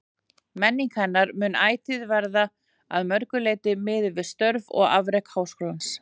Menning hennar mun ætíð verða að mörgu leyti miðuð við störf og afrek Háskólans.